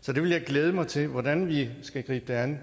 så det vil jeg glæde mig til hvordan vi skal gribe det an